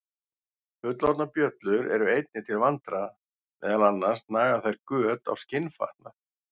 Fullorðnar bjöllur eru einnig til vandræða, meðal annars naga þær göt á skinnfatnað.